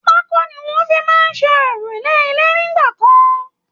pákó ni wọ́n fi máa ń ṣe òrúlé ilé nígbà kan